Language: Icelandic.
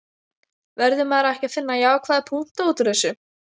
Verður maður ekki að finna jákvæða punkta útúr þessu?